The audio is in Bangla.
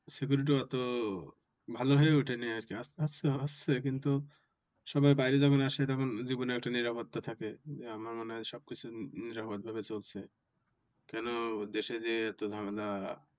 sceurity অত ভালো হয়ে ওঠেনি আর কি আস্তে আস্তে হচ্ছে কিন্তু সবাই বাইরে যখন আসে তখন জীবনের একটা নিরাপাত্তা থাকে। আমার মনে হয় সব কিছু নিরাপদ ভাবে চলছে। কেন দেশে যে এত ঝামেলা